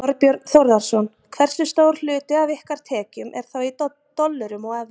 Þorbjörn Þórðarson: Hversu stór hluti af ykkar tekjum er þá í dollurum og evrum?